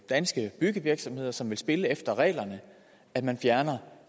danske byggevirksomheder som vil spille efter reglerne at man fjerner